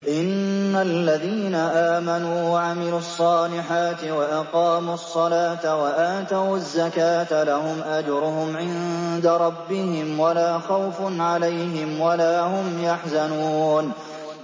إِنَّ الَّذِينَ آمَنُوا وَعَمِلُوا الصَّالِحَاتِ وَأَقَامُوا الصَّلَاةَ وَآتَوُا الزَّكَاةَ لَهُمْ أَجْرُهُمْ عِندَ رَبِّهِمْ وَلَا خَوْفٌ عَلَيْهِمْ وَلَا هُمْ يَحْزَنُونَ